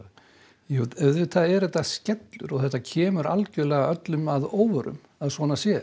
jú auðvitað er þetta skellur og kemur öllum að óvörum að svona sé